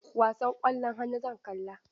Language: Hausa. Wasan ƙwallon hannu zan kalla.